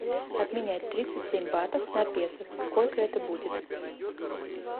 обменять тридцать семь батов на песо сколько это будет